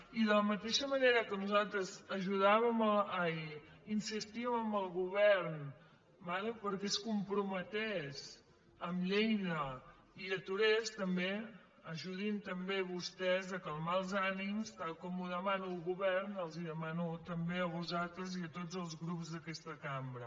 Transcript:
i de la mateixa manera que nosaltres insistíem al govern que es comprometés amb lleida i ho aturés també ajudin també vostès a calmar els ànims tal com ho demana el govern els ho demano també a vostès i a tots els grups d’aquesta cambra